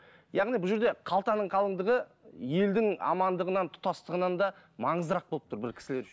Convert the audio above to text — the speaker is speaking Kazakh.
яғни бұл жерде қалтаның қалыңдығы елдің амандығынан тұтастығынан да маңыздырақ болып тұр бір кісілер үшін